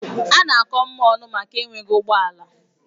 A na-akọ Mma ọnụ maka enweghị ụgbọ ala.